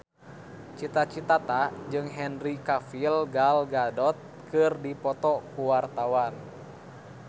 Cita Citata jeung Henry Cavill Gal Gadot keur dipoto ku wartawan